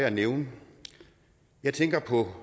at nævne jeg tænker på